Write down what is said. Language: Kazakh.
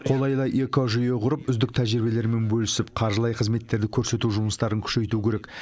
қолайлы экожүйе құрып үздік тәжірибелермен бөлісіп қаржылай қызметтерді көрсету жұмыстарын күшейту керек